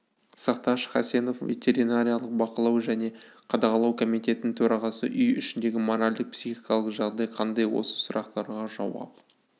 сақташ хасенов ветеринариялық бақылау және қадағалау комитетінің төрағасы үй ішіндегі моральдық-психикалық жағдай қандай осы сұрақтарға жауап